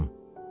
Soruşdum.